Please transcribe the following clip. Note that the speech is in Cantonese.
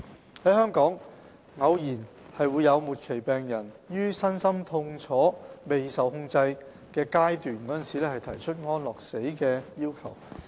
在香港，偶有末期病人於身心痛楚未受控制時提出安樂死的要求。